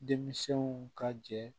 Denmisɛnw ka jɛ